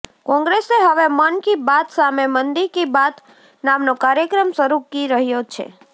કોંગ્રેસ હવે મન કી બાત સામે મંદી કી બાત નામનો કાર્યક્રમ શરૂ કી રહ્યો છે